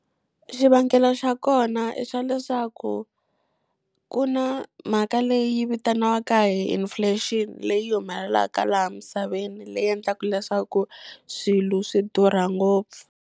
Xivangelo xa kona i xa leswaku, ku na mhaka leyi vitaniwaka hi inflation leyi humelelaka laha misaveni leyi endlaka leswaku swilo swi durha ngopfu.